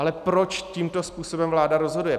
Ale proč tímto způsobem vláda rozhoduje?